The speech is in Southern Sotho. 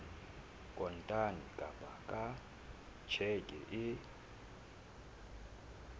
kontane kapa ka tjheke e